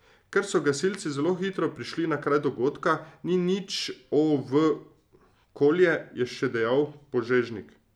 Ker so gasilci zelo hitro prišli na kraj dogodka, ni nič o v okolje, je še dejal Požežnik.